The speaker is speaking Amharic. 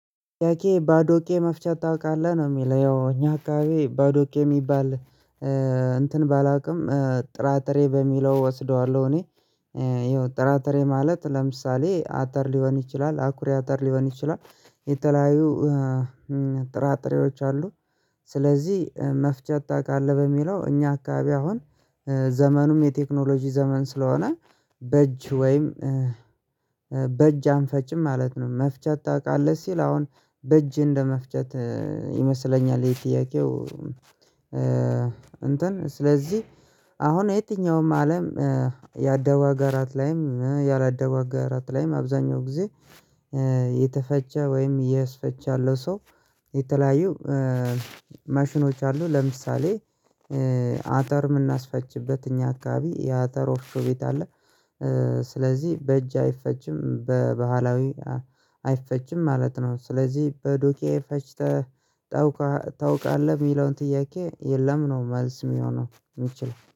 ያኬ ባዶቄ መፍቻ ታውቃለህ ነው የሚለው ያው እኛ አካባቢ ባዶቄ የሚባል እንትን ባላውቅም ጥራጥሬ በሚለው እወስደዋለሁ እኔ ይኸው ጥራጥሬ ማለት ለምሳሌ አተር ሊሆን ይችላል አኩሪ አተር ሊሆን ይችላል የተለያዩ ጥራጥሬዎች አሉ። ስለዚህ መፍቻ ታውቃለህ በሚለው እኛ አካባቢ አሁን ዘመኑም የቴክኖሎጂ ዘመን ስለሆነ በእጅ ወይም በእጅ አንፈጭም ማለት ነው። መፍጫ ታውቃለህ ሲል አሁን በእጅ እንደመፍጨት ይመስለኛል። የጥያቄው እንትን ስለዚህ አሁን የትኛውም አለም ያደጉ አገራትም ላይም ያላደጉ አገራት ላይም አብዛኛው ጊዜ የተፈጨ ወይም ዕየስፈጨ ያለ ሰው የተለያዩ ማሽኖች አሉ። ለምሳሌ አተር የምናስፈጭበት እኛ አካባቢ የአተር ወፍጮ ቤት አለ። ስለዚህ በእጅ አይፈጭም በባህላዊ አይፈጭም ማለት ነው። ስለዚህ በዱቄት ፈጭተህ ታውቃለህ የሚለውን ጥያቄ የለም ነው መልስ የሚሆነው የሚችለው